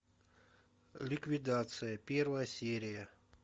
ликвидация первая серия